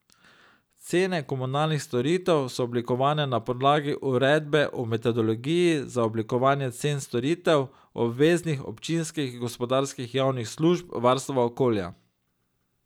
Cene komunalnih storitev so oblikovane na podlagi Uredbe o metodologiji za oblikovanje cen storitev obveznih občinskih gospodarskih javnih služb varstva okolja.